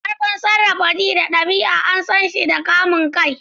Ƙarfin sarrafa ji da ɗabi'a an san shi da kamun kai.